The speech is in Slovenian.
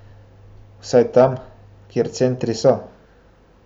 Vsaj tam, kjer centri so.